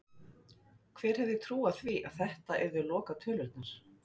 Hver hefði trúað því að þetta yrðu lokatölurnar??